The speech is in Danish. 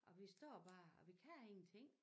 Og vi står bare og vi kan ingenting